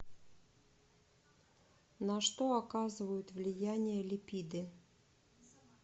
на что оказывают влияние липиды